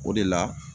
O de la